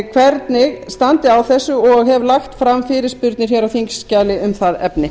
hvernig standi á þessu og hef lagt fram fyrirspurnir á þingskjali um það efni